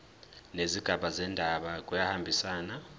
nezigaba zendaba kuyahambisana